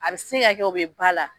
A be se ka kɛ o be ba la.